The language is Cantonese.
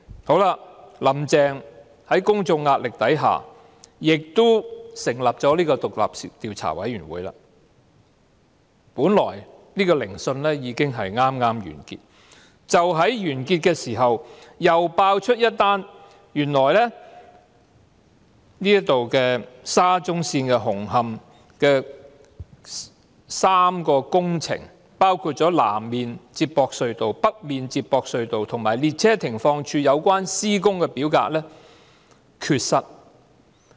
好了，"林鄭"在公眾壓力下亦成立了獨立調查委員會，本來聆訊已經剛剛完結，但就在完結時，又揭發原來與沙中線紅磡站的3項工程，包括南面連接隧道、北面連接隧道和列車停放處有關的施工表格缺失。